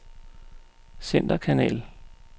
centerkanal